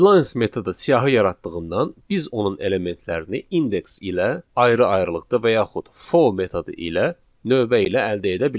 Readlines metodu siyahı yaratdığından, biz onun elementlərini indeks ilə ayrı-ayrılıqda və yaxud for metodu ilə növbə ilə əldə edə bilərik.